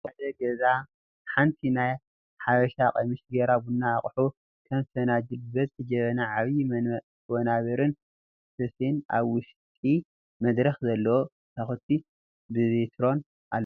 ኣብ ሓደ ገዛ ሓንቲ ናይ ሓበሻ ቀምሽ ጌራ ቡና አቁሑ ከም ፍንጃል ብበዝሒ፣ ጀበና ዓብይ፣ ወናብርን ስፈን ኣብቲ ውሽጢ መድረክ ዘለዎ መሳኩቲ ብቢትሮን ኣለዉ ።